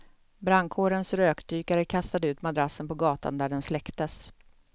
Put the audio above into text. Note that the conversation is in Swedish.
Brandkårens rökdykare kastade ut madrassen på gatan där den släcktes.